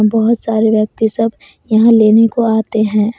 बहोत सारे व्यक्ति सब यहां लेने को आते हैं।